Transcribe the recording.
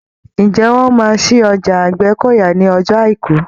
Ǹjẹ́ wọ́n máa ṣí ọjà Àgbẹ́kọ̀yà ní ọjọ́ Àìkú?